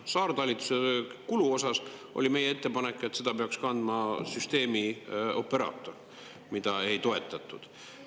Saartalituse kulu osas oli meie ettepanek, et seda peaks kandma süsteemioperaator, mida ei toetatud.